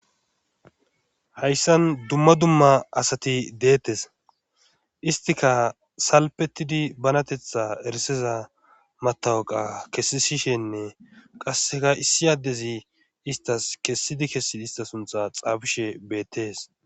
hayssan dumma dumma asati deettes istika salpetidi banatetha eriseza matawaqa kessishenne qasseka issi addezi istas kessidi kessidi ista suntha xaafishe beettees